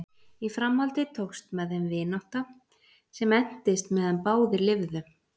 Í framhaldi tókst með þeim vinátta sem entist meðan báðir lifðu.